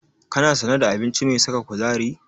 Kana sane da abinci mai saka kuzari?